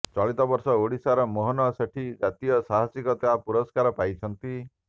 ଚଳିତ ବର୍ଷ ଓଡିଶାର ମୋହନ ସେଠୀ ଜାତୀୟ ସାହସିକତା ପୁରସ୍କାର ପାଇଛନ୍ତି